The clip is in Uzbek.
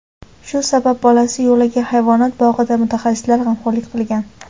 Shu sabab bolasi Yolaga hayvonot bog‘idagi mutaxassislar g‘amxo‘rlik qilgan.